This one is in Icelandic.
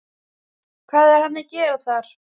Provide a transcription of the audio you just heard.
Hvað er hann að gera þar?